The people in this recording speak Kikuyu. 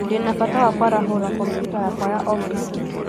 Ndĩ na bata wa kwarahũra kompyuta yakwa ya ofisi